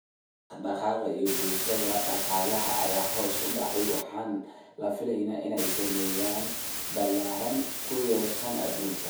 Dhaqdhaqaaqa bulshada iyo dhaqaalaha ayaa hoos u dhacay waxaana la filayaa inay saameyn ballaaran ku yeeshaan adduunka.